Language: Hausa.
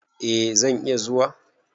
Eh zan iya zuwa.